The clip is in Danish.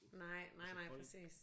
Nej nej nej præcis